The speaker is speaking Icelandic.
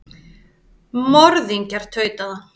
Morðingjar, tautaði hann.